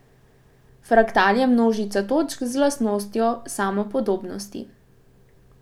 Fraktal je množica točk z lastnostjo samopodobnosti.